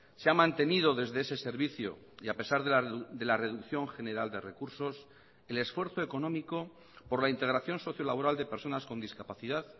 se ha mantenido desde ese servicio y a pesar de la reducción general de recursos el esfuerzo económico por la integración sociolaboral de personas con discapacidad